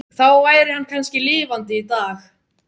Þá væri hann kannski lifandi í dag.